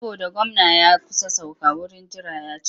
Saboda gwamna ya kusa sauka wurin jira ya cika.